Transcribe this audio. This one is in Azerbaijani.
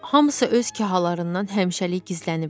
Hamısı öz kahalarından həmişəlik gizləniblər.